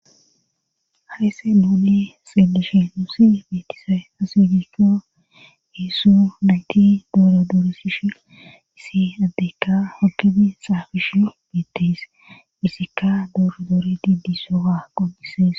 haysse nuuni xielishe nuusia beetisay asuudikko heessu nayti dooro duoresishi isi addeykka hokefi xaafish beetees isikka dooro doore diddi sowa qopisees